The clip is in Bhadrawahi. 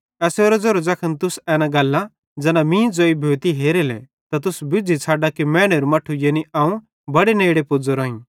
एसेरो ज़ेरो ज़ैखन तुस एना गल्लां ज़ैना मीं ज़ोई भोते हेरेले त तुस बुज़्झ़ी छ़ड्डा कि मैनेरू मट्ठू यानी अवं बड़े नेड़े पुज़्ज़ोरोईं